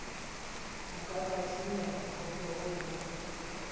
o ka tlasenyana koporo ho